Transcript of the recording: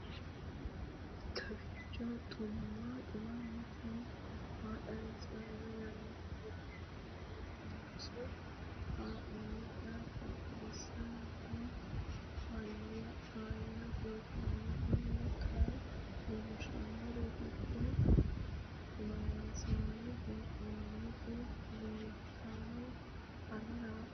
kowiicho xuma mtini maa xawissanno yaannohura biifinse haa'noonniti qooxeessano faayya kultanno tini kayi leellishshannori doogo loonsanni heee'nooniti leeltannoe anera xa